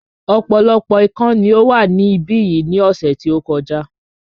Ọ̀pọ̀lọpọ̀ ikán ni ó wà ní ibí yìí ní ọ̀sẹ̀ tí ó kọjá